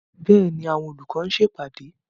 Bẹ́ẹ̀ni, àwọn olùkọ́ ti ń ṣe ìpàdé.